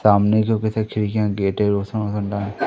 सामने जो किसी खिड़कियां गेट है रोशन वोशन दान--